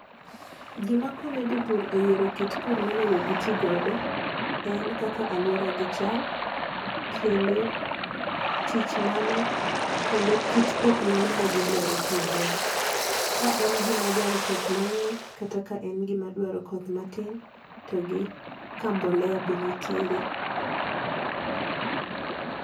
Gima konyo jopur e yiero kit pur monego gi ti godo, en kaka aluora gi chal, kendo tich mane, kendo kit pith mane ma gi dwaro tiyo godo. Ka en gima dwaro koth mang'eny, kata ka en gima dwaro koth matin to gi ka mbolea be nitiere.